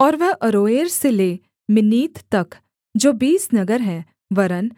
और वह अरोएर से ले मिन्नीत तक जो बीस नगर हैं वरन्